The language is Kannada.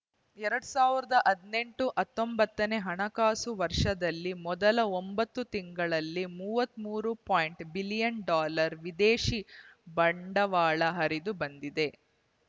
ಎರಡ್ ಸಾವಿರದ ಹದಿನೆಂಟು ಹತ್ತೊಂಬತ್ತನೇ ಹಣಕಾಸು ವರ್ಷದಲ್ಲಿ ಮೊದಲ ಒಂಬತ್ತು ತಿಂಗಳಲ್ಲಿ ಮೂವತ್ತ್ ಮೂರು ಪಾಯಿಂಟ್ ಐದು ಬಿಲಿಯನ್ ಡಾಲರ್ ವಿದೇಶಿ ಬಂಡವಾಳ ಹರಿದು ಬಂದಿದೆ